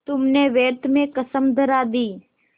तुमने व्यर्थ में कसम धरा दी